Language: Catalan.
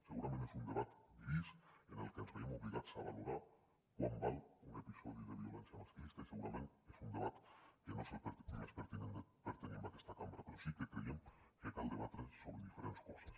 segurament és un debat gris en el que ens veiem obligats a valorar quant val un episodi de violència masclista i segurament és un debat que no és el més pertinent per tenir en aquesta cambra però sí que creiem que cal debatre sobre diferents coses